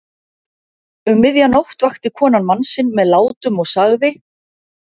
Um miðja nótt vakti konan mann sinn með látum og sagði